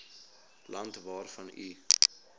land waarvan u